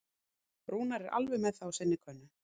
Rúnar er alveg með það á sinni könnu.